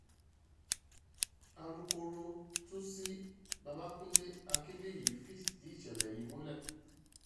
alukoro tuci babakunde akinbíyì fìdí ìṣẹ̀lẹ̀ yìí múlẹ̀